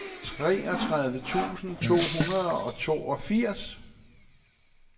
treogtredive tusind to hundrede og toogfirs